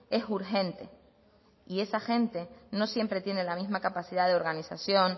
es urgente y esa gente no siempre tiene la misma capacidad de organización